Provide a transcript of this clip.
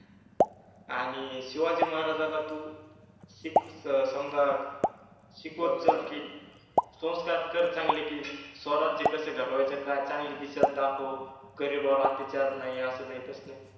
आणी शिवाजि महाराजाला तु शिक स समजा शिकवाजा कि संस्कार कर चांगले कि स्वराज्य कसे घडवायच कि काय चांगलि दिशा दाखव, गरिबावर अत्याचार नाहि अस नाहि तस नाहि